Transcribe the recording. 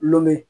Lome